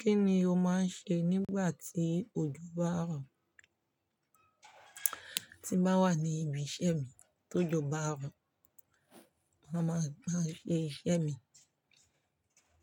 Kí ni o máa ń ṣe nígbà tí òjò bá ń rọ̀? Tí bá wà ní ibi iṣẹ́ mi tó jò bá ń rọ̀, màá máa ṣe iṣẹ́ mi.